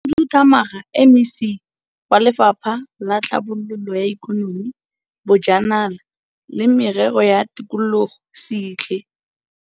Mokhudu thamaga, MEC, wa Lefapha la Tlhabololo ya Ikonomi, Bojanala le Merero ya Tikologo Sihle.